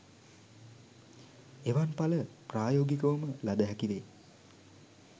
එවන් ඵල ප්‍රායෝගිකවම ලද හැකි වේ.